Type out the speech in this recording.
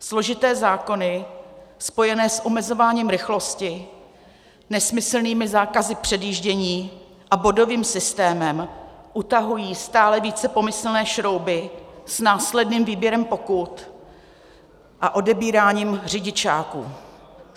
Složité zákony spojené s omezováním rychlosti, nesmyslnými zákazy předjíždění a bodovým systémem utahují stále více pomyslné šrouby s následným výběrem pokut a odebíráním řidičáků.